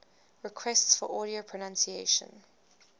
requests for audio pronunciation